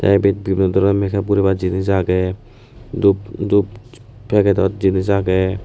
teh ebe vivin dorono make up guribar jenis aagey dup dup packedod jenis aagey.